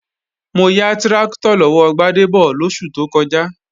Mo ya tráktọ̀ lọ́wọ́ Gbádébọ̀ lóṣù tó kọjá